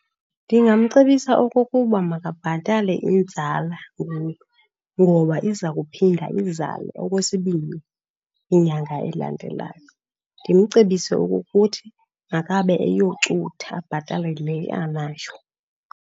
Ndingamcebisa okokuba makabhatale inzala ngoku ngoba iza kuphinda izale okwesibini kwinyanga elandelayo. Ndimcebise okokuthi makabe eyocutha abhatale le anayo.